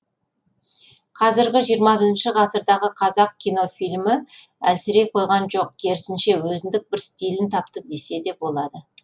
қазіргі жиырма бірінші ғасырдағы қазақ кино фильмі әлсірей қойған жоқ керісінше өзіндік бір стильін тапты деседе болады